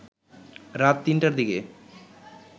রাত ৩টার দিকে